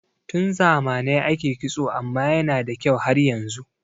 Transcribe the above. Tun zamanai ake kitso amma yana da kyau har yanzu